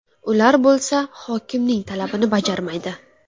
Ular bo‘lsa hokimning talabini bajarmaydi.